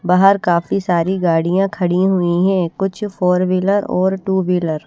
बाहर काफी सारी गाड़ियां खड़ी हुई है कुछ फोर व्हीलर और टू व्हीलर --